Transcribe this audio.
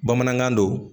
Bamanankan don